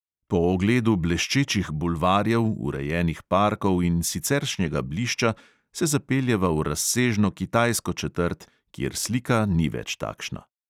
Po ogledu bleščečih bulvarjev, urejenih parkov in siceršnjega blišča se zapeljeva v razsežno kitajsko četrt, kjer slika ni več takšna.